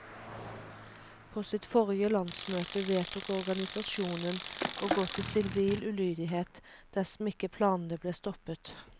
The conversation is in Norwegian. På sitt forrige landsmøte vedtok organisasjonen å gå til sivil ulydighet, dersom ikke planene ble stoppet.